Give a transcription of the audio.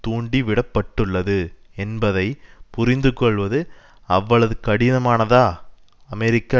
தூண்டிவிடப்பட்டுள்ளது என்பதை புரிந்து கொள்வது அவ்வளது கடினமானதா அமெரிக்க